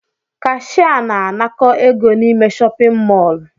Cashier na-anakọ égo n'ime shọpin mọl.